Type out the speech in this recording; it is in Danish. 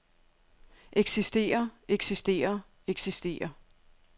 eksisterer eksisterer eksisterer